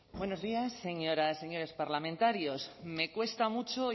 buenos días señoras y señores parlamentarios me cuesta mucho